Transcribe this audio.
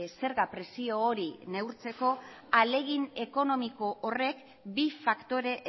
zerga presio hori neurtzeko ahalegin ekonomiko horrek bi faktore